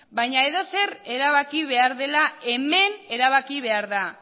baina edozer erabaki behar dela hemen erabaki behar da